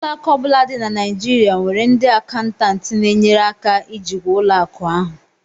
Ụlọ akụ ọ bụla dị na Naijirịa nwere ndị akaụntantị na-enyere aka ijikwa ụlọ akụ ahụ